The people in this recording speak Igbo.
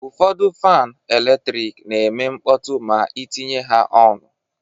Ụfọdụ fan eletrik na-eme mkpọtụ ma itinye ha ọnụ.